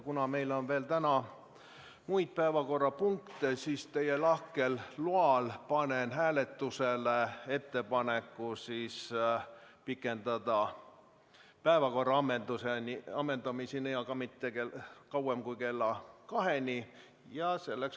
Kuna meil on täna veel muidki päevakorrapunkte, siis panen teie lahkel loal hääletusele ettepaneku pikendada istungit päevakorra ammendumiseni, aga mitte kauemaks kui kella 14-ni.